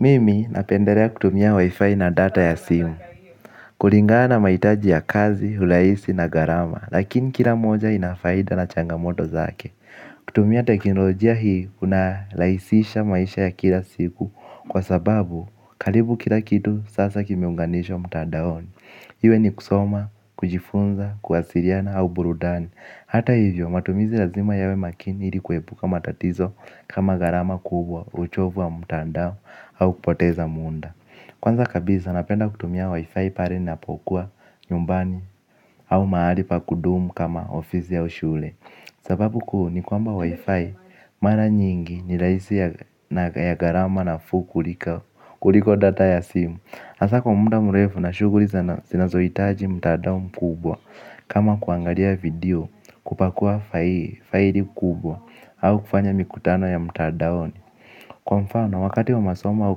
Mimi napendelea kutumia wifi na data ya simu. Kulingana na mahitaji ya kazi, urahisi na gharama lakini kila moja inafaida na changamoto zake. Kutumia teknolojia hii unarahisisha maisha ya kila siku kwa sababu karibu kila kitu sasa kimeunganishwa mtandaoni. Iwe ni kusoma, kujifunza, kuwasiliana au burudani. Hata hivyo matumizi lazima yawe makini ili kuepuka matatizo kama gharama kubwa, uchovu wa mtandao au kupoteza muda. Kwanza kabisa napenda kutumia wifi pale ninapokuwa nyumbani au mahali pa kudumu kama ofisi au shule. Sababu kuu ni kwamba wifi mara nyingi ni rahisi na ya gharama nafuu kuliko data ya simu, hasaa kwa muda mrefu na shughuli zinazohitaji mtandao mkubwa. Kama kuangalia video kupakua faili kubwa au kufanya mikutano ya mtandaoni. Kwa mfano wakati wa masomo au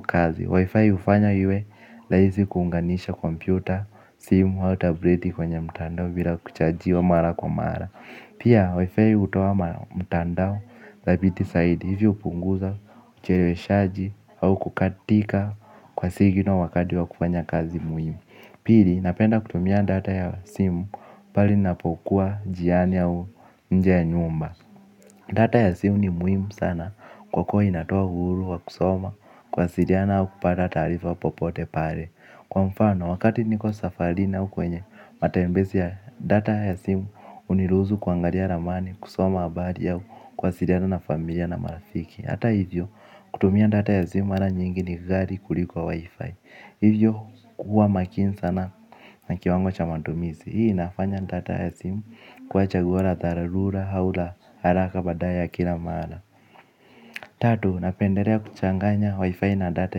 kazi wifi hufanya iwe rahisi kuunganisha kompyuta. Simu au tableti kwenye mtandao bila kuchajiwa mara kwa mara. Pia wifi hutoa mtandao dhabiti zaidi hivyo hupunguza ucheleweshaji au kukatika kwa signal wakati wa kufanya kazi muhimu. Pili napenda kutumia data ya simu pale ninapokuwa njiani au nje ya nyumba. Data ya simu ni muhimu sana kwa kuwa inatoa uhuru wa kusoma kuwasiliana au kupata taarifa popote pale. Kwa mfano, wakati niko safarini au kwenye matembezi ya data ya simu huniruhusu kuangalia ramani, kusoma habari au kuwasiliana na familia na marafiki. Hata hivyo, kutumia data ya simu mara nyingi ni ghali kuliko wifi. Hivyo kuwa makini sana na kiwango cha matumizi. Hii inafanya data ya simu kuwa chaguo la dharura au la haraka badala ya kila mara. Tatu, napendelea kuchanganya wifi na data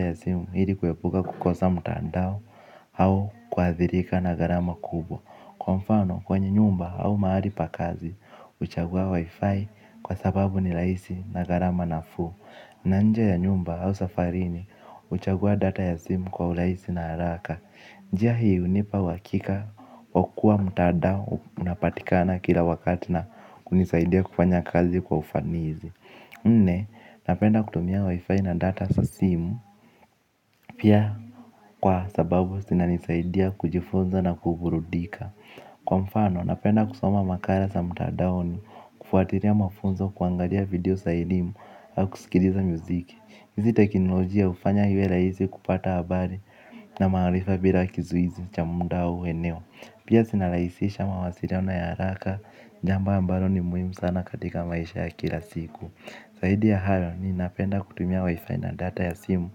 ya simu ili kuepuka kukosa mtandao au kuathirika na gharama kubwa. Kwa mfano kwenye nyumba au mahali pa kazi huchagua wifi kwa sababu ni rahisi na gharama nafuu na nje ya nyumba au safarini huchagua data ya simu kwa urahisi na haraka. Njia hii hunipa uhakika wa kuwa mtandao unapatikana kila wakati na kunisaidia kufanya kazi kwa ufanisi. Nne, napenda kutumia wifi na data za simu pia kwa sababu zinanisaidia kujifunza na kuburudika. Kwa mfano, napenda kusoma makala za mtandaoni kufuatilia mafunzo kuangalia video za elimu au kusikiliza muziki. Hizi teknolojia hufanya iwe rahisi kupata habari na maarifa bila kizuizi cha muda au eneo. Pia zinarahisisha mawasiliano ya haraka jambo ambalo ni muhimu sana katika maisha ya kila siku. Zaidi ya hayo ninapenda kutumia wifi na data ya simu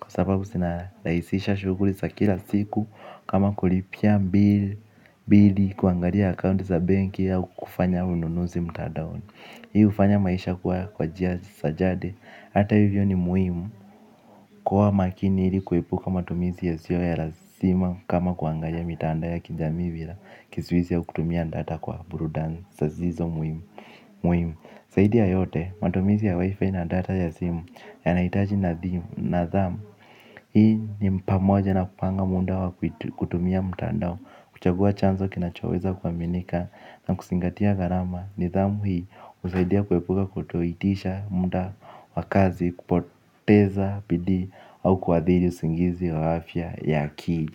kwa sababu zinarahisisha shughuli za kila siku kama kulipia bill kuangalia akaunti za benki au kufanya ununuzi mtandaoni. Hii hufanya maisha kuwa kwa njia za jadi hata hivyo ni muhimu. Kuwa makini ili kuepuka matumizi yasiyo ya lazima kama kuangalia mitandao ya kijamii bila kizuizi ya kutumia data kwa burudani zisizo muhimu muhimu. Zaidi ya yote matumizi ya wifi na data ya simu yanahitaji nadhimu, nadhamu. Hii ni pamoja na kupanga muda wa kutumia mtandao, kuchagua chanzo kinachoweza kuaminika na kuzingatia gharama. Nidhamu hii husaidia kuepuka kutoitisha muda wa kazi, kupoteza bidii au kuathiri usingizi wa afya ya ki.